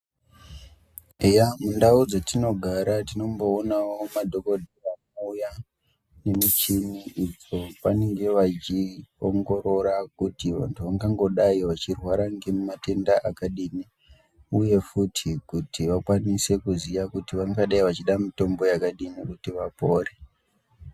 Eya mundau dzetinogara tinomboonawo madhokodheya anouya nemichini idzo pavanenge vechiongorora kuti vantu vangangodai vachirwa ngematenda aķadini uye futi kuti vakwanise kuti vangadai vachida mitombo yakadini kuti vapore.